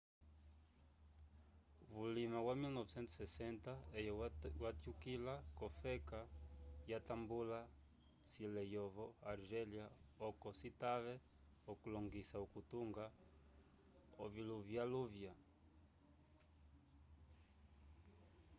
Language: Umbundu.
vulima wa 1960 eye watyukila k'ofeka yatambula cilo eyovo argélia oco citave okulongoisa okutunga oviluvyaluvya